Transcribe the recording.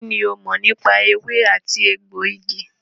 Kínní o mọ̀ nípa ewé àti egbògi?